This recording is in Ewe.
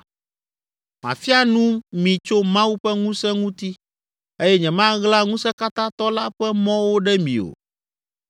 “Mafia nu mi tso Mawu ƒe ŋusẽ ŋuti eye nyemaɣla Ŋusẽkatãtɔ la ƒe mɔwo ɖe mi o.